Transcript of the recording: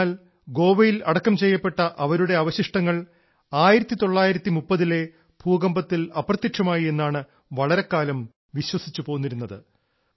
എന്നാൽ ഗോവയിൽ അടക്കം ചെയ്യപ്പെട്ട അവരുടെ അവശിഷ്ടങ്ങൾ 1930ലെ ഭൂകമ്പത്തിൽ അപ്രത്യക്ഷമായി എന്നാണ് വളരെ കാലം വിശ്വസിച്ചുപോന്നിരുന്നത്